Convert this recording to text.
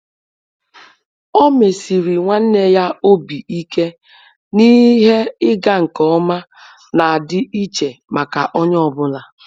Ọ́ mèsị̀rị̀ nwanne ya obi ike na ihe ịga nke ọma nà-ádị́ iche màkà onye ọ bụla.